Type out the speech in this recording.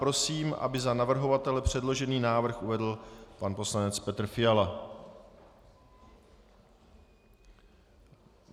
Prosím, aby za navrhovatele předložený návrh uvedl pan poslanec Petr Fiala.